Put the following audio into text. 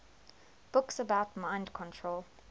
books about mind control